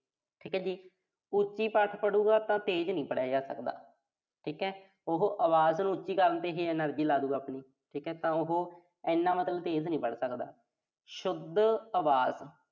ਠੀਕ ਆ ਜੀ। ਉੱਚੀ ਪਾਠ ਪੜੂਗਾ ਤਾਂ ਤੇਜ਼ ਨੀਂ ਪੜਿਆ ਜਾ ਸਕਦਾ। ਠੀਕਾ ਉਹੋ ਆਵਾਜ਼ ਨੂੰ ਉੱਚੀ ਕਰਨ ਤੇ ਹੀ energy ਲਾਦੂ ਆਪਣੀ। ਠੀਕਾ ਤਾਂ ਮਤਲਬ ਉਹੋ ਐਨਾ ਮਤਲਬ ਤੇਜ਼ ਨੀਂ ਪੜ੍ਹ ਸਕਦਾ। ਸ਼ੁੱਧ ਆਵਾਜ਼